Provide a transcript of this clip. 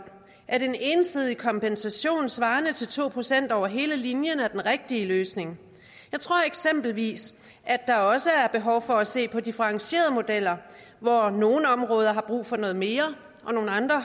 at en ensidig kompensation svarende til to procent over hele linjen er den rigtige løsning jeg tror eksempelvis at der også er behov for at se på differentierede modeller hvor nogle områder har brug for noget mere og nogle andre